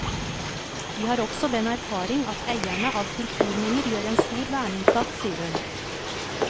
Vi har også den erfaring at eierne av kulturminner gjør en stor verneinnsats, sier hun.